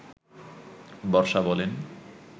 বর্ষা বলেন